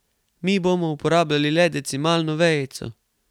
Mi bomo uporabljali le decimalno vejico.